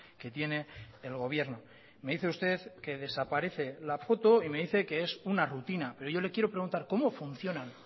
que tiene el gobierno me dice usted que desaparece la foto y me dice que es una rutina pero yo le quiero preguntar cómo funcionan